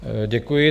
Děkuji.